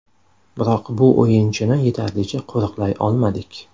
Biroq bu o‘yinchini yetarlicha qo‘riqlay olmadik.